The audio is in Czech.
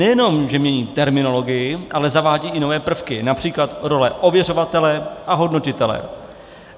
Nejenom že mění terminologii, ale zavádí i nové prvky, například role ověřovatele a hodnotitele.